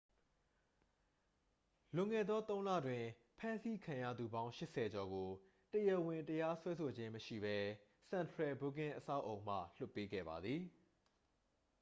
လွန်ခဲ့သော 3 လတွင် ဖမ်းဆီးခံရသူပေါင်း 80 ကျော်ကို တရားဝင်တရားစွဲဆိုခြင်းမရှိဘဲ central booking အဆောက်အအုံမှ လွှတ်ပေးခဲ့ပါသည်